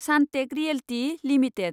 Sunteck realty limited